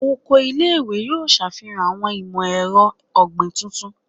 Oko ile-iwe yoo ṣafihan awọn imọ-ẹrọ ogbin tuntun